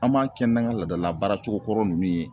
An b'a kɛ n'an ka laadala baaracogo kɔrɔ ninnu ye.